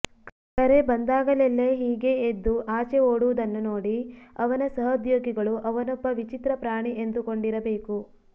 ಕರೆ ಬಂದಾಗಲೆಲ್ಲೆ ಹೀಗೆ ಎದ್ದು ಆಚೆ ಓಡುವುದನ್ನು ನೋಡಿ ಅವನ ಸಹೊದ್ಯೋಗಿಗಳು ಅವನೊಬ್ಬ ವಿಚಿತ್ರ ಪ್ರಾಣಿ ಎಂದುಕೊಂಡಿರಬೇಕು